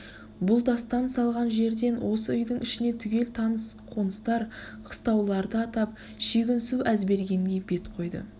бұл дастан салған жерден осы үйдің ішіне түгел таныс қоныстар қыстауларды атап шүйгінсу әзбергенге бет қойды